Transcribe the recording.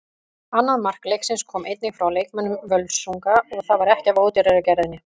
Annað mark leiksins kom einnig frá leikmönnum Völsungs og það var ekki af ódýrari gerðinni.